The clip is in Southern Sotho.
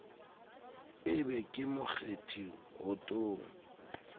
e be ke mokgethi wotong